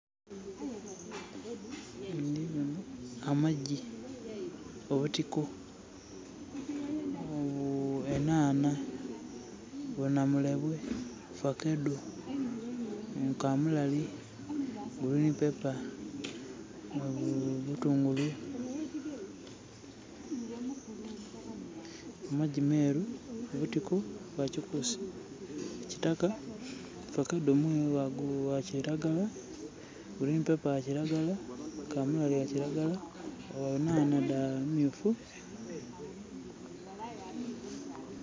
Ndiboona amagyi, obutiko, enhaanha, bunamulebwe, vakedo, kamulali, green pepper, butungulu. Amagyi meeru, obutiko bwa kikuusi kitaka, vakedo gha kiragala, green pepper gha kiragala, kamulali gha kiragala, enhaanha dha myufu.